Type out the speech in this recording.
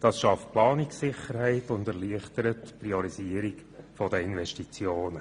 Das schafft Planungssicherheit und erleichtert die Priorisierung der Investitionen.